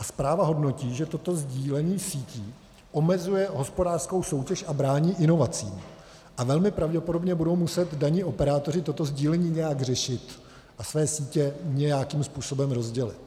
A zpráva hodnotí, že toto sdílení sítí omezuje hospodářskou soutěž a brání inovacím a velmi pravděpodobně budou muset daní operátoři toto sdílení nějak řešit a své sítě nějakým způsobem rozdělit.